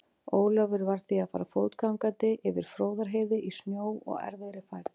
Ólafur varð því að fara fótgangandi yfir Fróðárheiði í snjó og erfiðri færð.